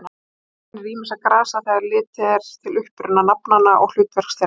Þar kennir ýmissa grasa þegar litið er til uppruna nafnanna og hlutverks þeirra.